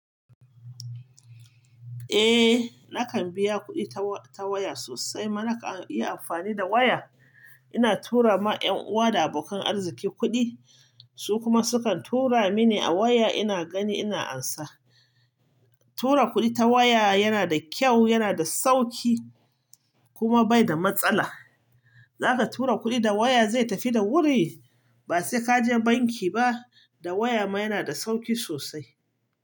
Eh, nakan biya kuɗi ta wa-- ta waya sosai. Kuma na kan iya amfani da waya. Ina tura ma 'yan uwa da abokan arziki kuɗi, su kuma sukan tura mini a waya ina gani ina ansa. Tura kuɗi ta waya yana da kyau, yana da sauƙi kuma bai da matsala. Zaka tura kuɗi da waya zai tafi da wuri ba sai ka je banki ba. Da waya ma yana da sauƙi sosai.